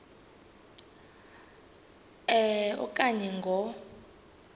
a okanye ngo